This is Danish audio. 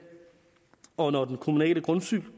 og når den kommunale